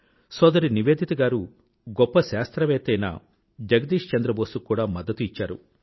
సోదరి నివేదిత గారు గొప్ప శాస్త్రవేత్త అయిన జగదీష్ చంద్ర బోస్ కు కూడా మద్దతు ఇచ్చారు